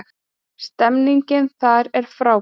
Stemningin þar er frábær